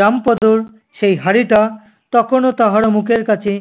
রামপদোর সেই হাঁড়িটা তখনো তাহার মুখের কাছে